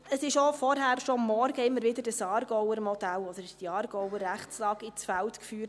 Es wurde auch vorhin schon, am Morgen, dieses Aargauer Modell, oder diese Aargauer Rechtslage, ins Feld geführt.